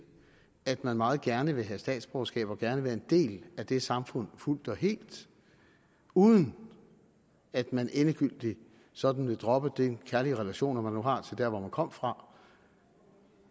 at man meget gerne vil have statsborgerskab og gerne være en del af det samfund fuldt og helt uden at man endegyldigt sådan vil droppe de kærlige relationer man nu har til der hvor man kom fra